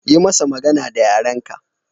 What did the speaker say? Yi masa magana da yaren ka